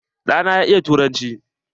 Ɗa na ya iya turanci.